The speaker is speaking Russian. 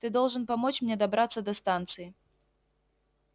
ты должен помочь мне добраться до станции